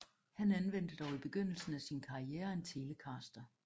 Han anvendte dog i begyndelsen af sin karriere en Telecaster